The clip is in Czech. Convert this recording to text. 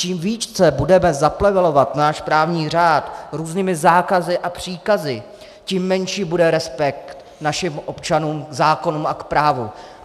Čím více budeme zaplevelovat náš právní řád různými zákazy a příkazy, tím menší bude respekt našim občanům k zákonům a k právu.